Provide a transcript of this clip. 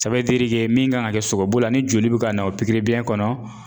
min kan ka kɛ sogobu la ni joli bɛ ka na o pikiribiyɛn kɔnɔ